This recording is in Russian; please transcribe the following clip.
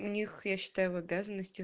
у них я считаю в обязаностях